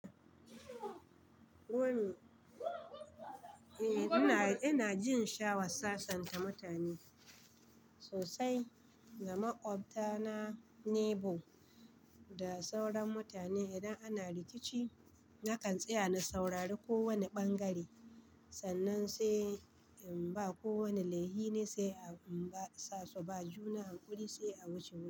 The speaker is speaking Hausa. Wani, eh ina, ina jin sha'awa sasanta mutane sosai. Da makwabta na neighbour. Da sauran mutane idan ana rikici nakan tsaya na saurari kowane ɓangare. Sannan sai in ba ko wane laifi ne sai in ba sa su ba juna hakuri sai a wuce wurin.